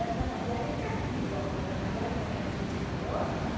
trabalhar é castigo, agora trabalhar em o que a gente não gosta.